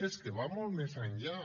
és que va molt més enllà